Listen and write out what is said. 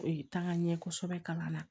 Ee taa ŋa ɲɛ kosɛbɛ kalan na